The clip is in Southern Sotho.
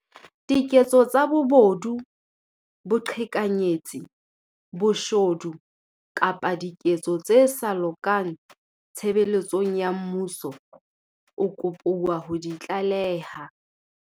diketso tsa bobodu, boqhekanyetsi, boshodu kapa diketso tse sa lokang tshebeletsong ya mmuso, o kopuwa ho di tlaleha.